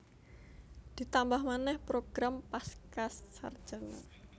Ditambah manèh program Pascasarjana